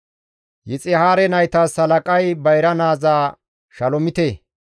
Yixihaare naytas halaqay bayra naaza Shalomite.